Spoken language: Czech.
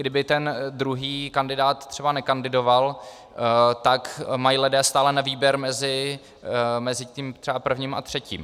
kdyby ten druhý kandidát třeba nekandidoval, tak mají lidé stále na výběr mezi tím třeba prvním a třetím.